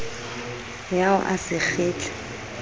ya o a se kgitla